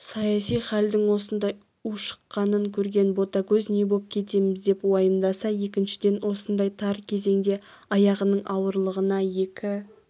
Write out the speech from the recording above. саяси хәлдің осындай ушыққанын көрген ботагөз не боп кетеміз деп уайымдаса екіншіден осындай тар кезеңде аяғының ауырлығына екі